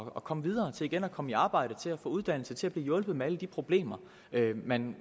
at komme videre og igen komme i arbejde til at få uddannelse til at blive hjulpet med alle de problemer man